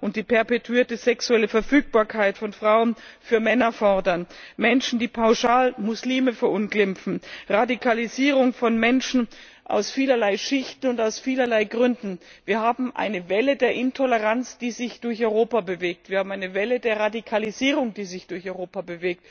und die perpetuierte sexuelle Verfügbarkeit von Frauen für Männer fordern, Menschen, die pauschal Muslime verunglimpfen, Radikalisierung von Menschen aus vielerlei Schichten und aus vielerlei Gründen wir haben eine Welle der Intoleranz, die sich durch Europa bewegt, wir haben eine Welle der Radikalisierung, die sich durch Europa bewegt.